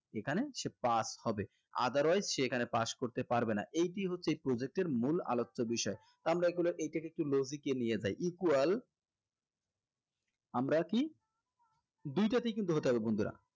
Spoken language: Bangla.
এখানে সে pass হবে otherwise সে এখানে pass করতে পারবে না এইটি হচ্ছে project এর মূল আলোচ্য বিষয় আমরা এগুলা এইটাকে একটু logic এ নিয়ে যাই equal আমরা কি দুইটাতেই কিন্তু হতে হবে বন্ধুরা